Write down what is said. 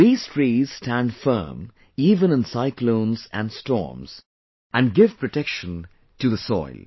These trees stand firm even in cyclones and storms and give protection to the soil